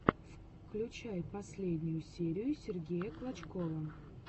включай последнюю серию сергея клочкова